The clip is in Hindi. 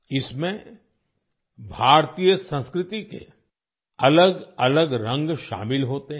इसमें भारतीय संस्कृति के अलग अलग रंग शामिल होते हैं